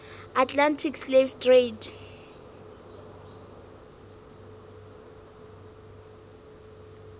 atlantic slave trade